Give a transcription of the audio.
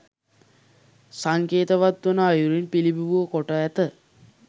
සංකේතවත් වන අයුරින් පිළිබිඹු කොට ඇත.